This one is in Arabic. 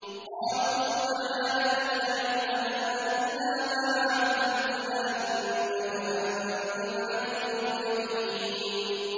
قَالُوا سُبْحَانَكَ لَا عِلْمَ لَنَا إِلَّا مَا عَلَّمْتَنَا ۖ إِنَّكَ أَنتَ الْعَلِيمُ الْحَكِيمُ